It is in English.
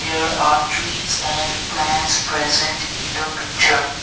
there are trees and plants present in the picture.